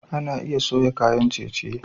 Ana iya soya kayan ciye-city